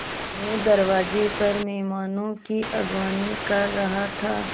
मैं दरवाज़े पर मेहमानों की अगवानी कर रहा था